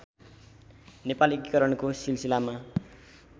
नेपाल एकीकरणको सिलसिलामा